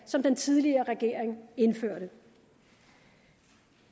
som den tidligere regering indførte